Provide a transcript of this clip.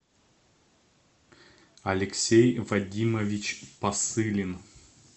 алексей вадимович посылин